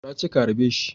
Na ce ka harbe shi